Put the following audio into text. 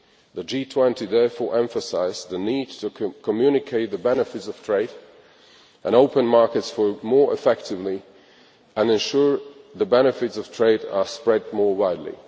The G20 therefore emphasised the need to communicate the benefits of trade and open markets more effectively and to ensure that the benefits of trade are spread more widely.